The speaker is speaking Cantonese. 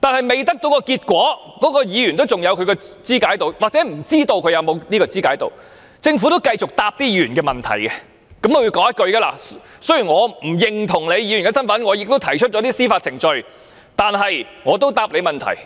但在未得到結果前，該人仍然有或不知道是否還有議員的資格，而政府仍會繼續回答該人的問題，並說："雖然我不認同你議員的身份並已提出司法程序，但我仍然會回答你的問題。